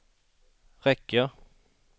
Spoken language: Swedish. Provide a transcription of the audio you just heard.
räcker